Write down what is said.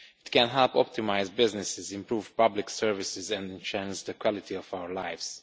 It can help optimise businesses, improve public services and enhance the quality of our lives.